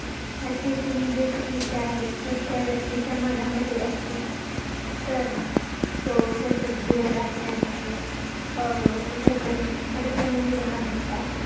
अशे जे negative विचार आहेत जर, त्या व्यक्तीच्या मनामध्ये असतील. तर, तो त्याच ध्येय गाठण्यासाठी अं कुठतरी अडचणी निर्माण होतात.